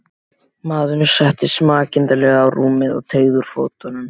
Maðurinn settist makindalega á rúmið og teygði úr fótunum.